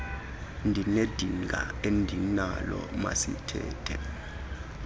ndinedinga endinalo masithethe